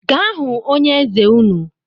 Gaa hụ onye eze nnu